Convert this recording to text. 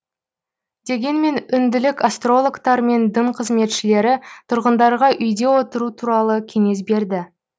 дегенмен үнділік астрологтар мен дін қызметшілері тұрғындарға үйде отыру туралы кеңес берді